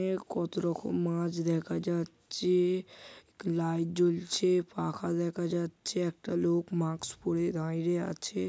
এ কত রকম মাছ দেখা যাচ-ছে-এ লাইট জ্বলছে পাখা দেখা যাচ্ছে একটা লোক মাক্স পরে দাঁইড়ে আছে ।